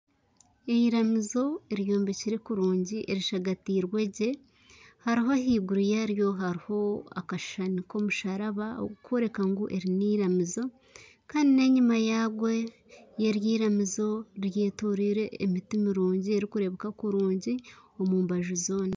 Eiramizo eyombekire kurungi erishagatiirwe gye ahaiguru yaaryo hariho akashushani k'omusharaba ogurikworeka ngu eri n'eiramizo kandi n'enyima yaryo eyetoreire emiti mirungi erikurebeeka kurungi omu mbaju zoona